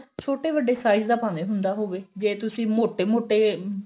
ਛੋਟੇ ਵੱਡੇ size ਦਾ ਭਾਵੇਂ ਹੁੰਦਾ ਹੋਵੇ ਜੇ ਤੁਸੀਂ ਮੋਟੇ ਮੋਟੇ